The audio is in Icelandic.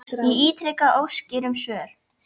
Ég ítreka óskir um svör.